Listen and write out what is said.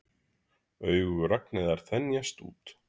Augu Ragnheiðar þenjast út.